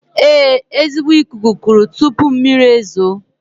Ee, ezigbo ikuku kuru tuupu mmiri ezuoo